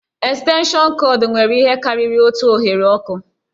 Estenshịọnụ kọọdụ nwere ihe karịrị otu oghere ọkụ